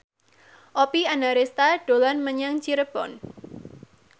Oppie Andaresta dolan menyang Cirebon